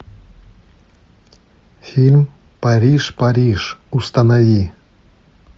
фильм париж париж установи